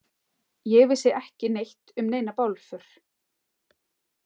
Ég vissi ekki neitt um neina bálför.